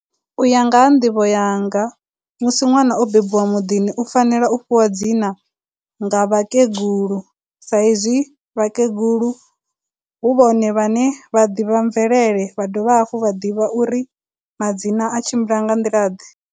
u ya nga ha nḓivho yanga, musi ṅwana o bebiwa muḓini u fanela u fhiwa madzina nga vhakegulu sa izwi vhakegulu hu vhone vha ne vha ḓivha mvelele vha dovha hafhu vha ḓivha uri madzina a tshimbila nga nḓila ḓe.